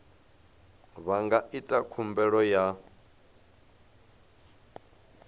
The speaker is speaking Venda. vha nga ita khumbelo ya